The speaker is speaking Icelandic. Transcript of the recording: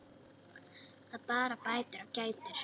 Það bara bætir og kætir.